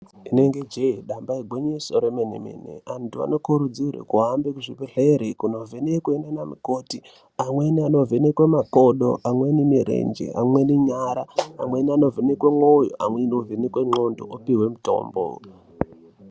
Inenge je damba igwinyiso remene mene antu anokurudzirwa kuhambe zvibhedhlera kundo vhenekwa nana mukoti amweni ano vhenekwa makodo amweni mirenje amweni nyara amweni ano vhenekwa mwoyo amweni ano vhenekwa ngoxondo opiwe mutombo.